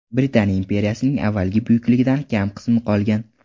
Britaniya imperiyasining avvalgi buyukligidan kam qismi qolgan.